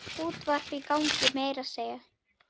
Útvarp í gangi meira að segja.